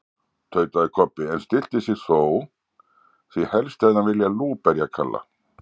tautaði Kobbi, en stillti sig þó, því helst hefði hann viljað lúberja Kalla.